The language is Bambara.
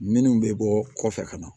Minnu bɛ bɔ kɔfɛ ka na